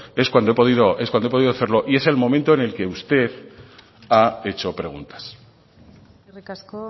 es cuando he podido hacerlo y es el momento en el que usted ha hecho preguntas eskerrik asko